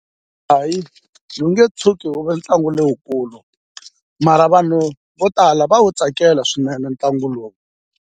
Hayi ni nge tshuki wu ve ntlangu lowukulu mara vanhu vo tala va wu tsakela swinene ntlangu lowu.